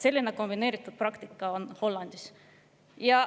Selline kombineeritud praktika on Hollandis.